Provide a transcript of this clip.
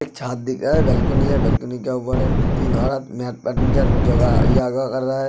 छत दिख रहा है। बालकनी है बालकनी के ऊपर तीन औरत पंचासन योगा कर रहा है।